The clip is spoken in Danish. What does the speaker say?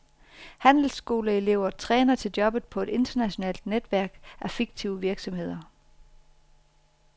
Handelsskoleelever træner til jobbet på et internationalt netværk af fiktive virksomheder.